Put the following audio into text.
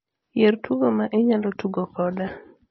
yier tugo ma inyalo tugo koda